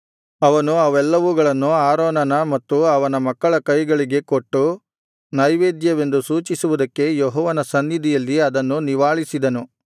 ಅವನು ಅವೆಲ್ಲವುಗಳನ್ನು ಆರೋನನ ಮತ್ತು ಅವನ ಮಕ್ಕಳ ಕೈಗಳಿಗೆ ಕೊಟ್ಟು ನೈವೇದ್ಯವೆಂದು ಸೂಚಿಸುವುದಕ್ಕೆ ಯೆಹೋವನ ಸನ್ನಿಧಿಯಲ್ಲಿ ಅದನ್ನು ನಿವಾಳಿಸಿದನು